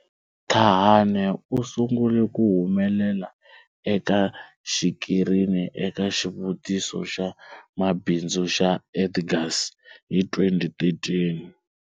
Thahane u sungule ku humelela eka xikirini eka xitiviso xa mabindzu xa Edgars hi 2013.